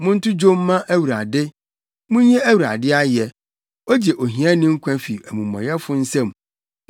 Monto dwom mma Awurade! Munyi Awurade ayɛ! Ogye ohiani nkwa fi amumɔyɛfo nsam.